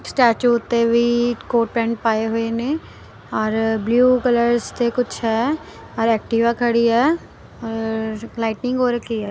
Statue ਓੱਤੇ ਵੀ coat pant ਪਾਏ ਹੋਏ ਨੇਂ ਔਰ ਬਲੂ ਕਲਰਸ ਤੇ ਕੁੱਛ ਹੈ ਔਰ ਐਕਟਿਵਾ ਖੜੀ ਹੈ ਔਰ ਲਾਈਟਨਿੰਗ ਹੋ ਰੱਖੀ ਹੈ।